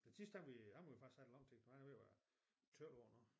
Den sidste havde vi ham har vi faktisk haft i lang tid for han er ved at være 12 år nu